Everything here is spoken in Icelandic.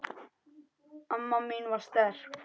Amma mín var sterk.